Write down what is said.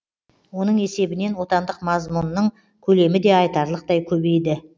оның есебінен отандық мазмұнның көлемі де айтарлықтай көбейді